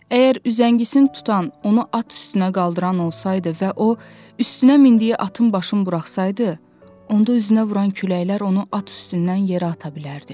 Əgər üzəngisini tutan onu at üstünə qaldıran olsaydı və o üstünə mindiyi atın başını buraxsasaydı, onda üzünə vuran küləklər onu at üstündən yerə ata bilərdi.